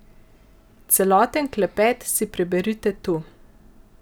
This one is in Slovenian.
Celoten klepet si preberite tu.